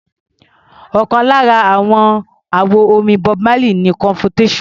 Ọ̀kan lára àwọn àwo-orin Bob Marley ni Confrontation.